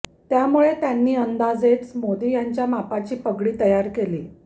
त्यामुळे त्यांनी अंदाजेच मोदी यांच्या मापाची पगडी तयार केली